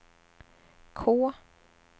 K